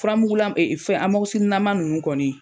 Furamugula fɛn lama ninnu kɔni.